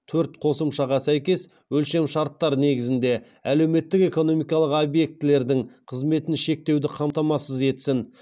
төрт қосымшаға сәйкес өлшемшарттар негізінде әлеуметтік экономикалық объектілердің қызметін шектеуді қамтамасыз етсін